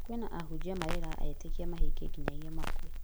kwĩna ahunjia marera etĩkĩa mahinge nginyagia makue